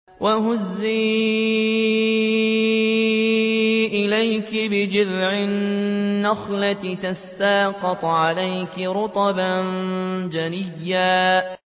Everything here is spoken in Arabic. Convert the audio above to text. وَهُزِّي إِلَيْكِ بِجِذْعِ النَّخْلَةِ تُسَاقِطْ عَلَيْكِ رُطَبًا جَنِيًّا